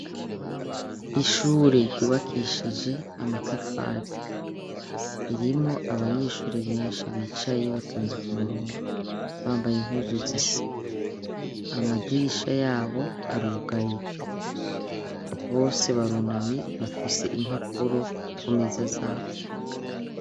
Ishure ryubakishije amatafari .Ririmo abanyeshuri benshi bicaye batonze ku murongo bambaye impuzu zisa amadirisha yabo arugaye bose barunamye bafise impapuro ku meza zabo.